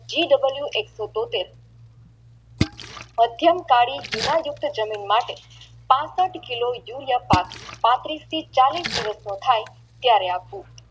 GW એક સો તોતેર મધ્યાન્ત કાલી જુના જપ્ત જાણો માટે પાંસઠ કિલો યુરિયા પાક પાંત્રીશ કે ચાલીશ દિવસનો થઈ ત્યારે આપવું